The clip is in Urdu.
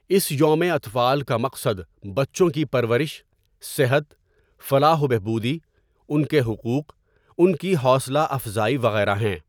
اس یوم اطفال کا مقصد بچوں کی پرورش، صحت، فلاح وبہبودی، ان کے حقوق، ان کی حوصلہ افضائی وغیرہ ہیں.